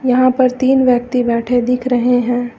यहां पर तीन व्यक्ति बैठे दिख रहे हैं।